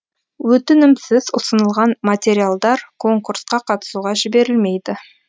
өтінімсіз ұсынылған материалдар конкурсқа қатысуға жіберілмейді